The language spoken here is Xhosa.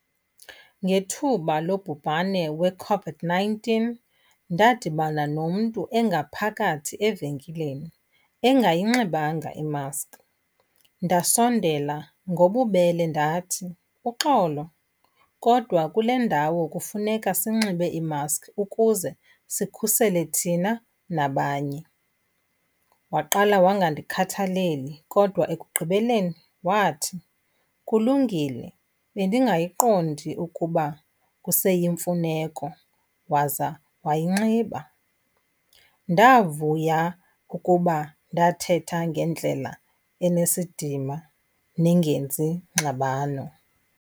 Ngethuba lobhubane weCOVID-nineteen ndadibana nomntu engaphakathi evenkileni engayinxibanga imaski. Ndasondela ngobubele ndathi, uxolo kodwa kule ndawo kufuneka sinxibe iimaski ukuze sikhusele thina nabanye. Waqala wangandikhathaleli kodwa ekugqibeleni wathi, kulungile bendingayiqondi ukuba kuseyimfuneko waza wayinxiba. Ndavuya ukuba ndathetha ngendlela enesidima nengenzi ngxabano.